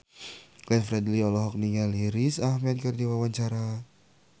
Glenn Fredly olohok ningali Riz Ahmed keur diwawancara